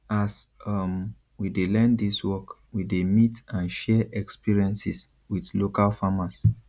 as um we dey learn dis work we dey meet and share experiences with local farmers